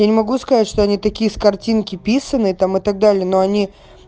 я не могу сказать что они такие с картинки писаные там и так далее но они